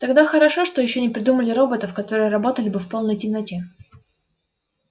тогда хорошо что ещё не придумали роботов которые работали бы в полной темноте